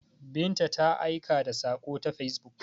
Binta ta aika da sako ta facebook.